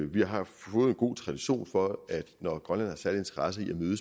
vi har fået en god tradition for at når grønlænderne særlig interesse i et møde